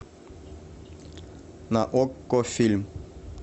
на окко фильм